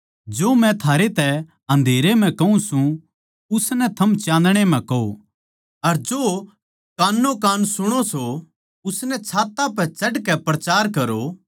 जो मै थारै तै अन्धेरे म्ह कहूँ सूं उसनै थम चान्दणे म्ह कहो अर जो कान्नो कान सुणो सों उसनै छात्तां पै चढ़ के प्रचार करो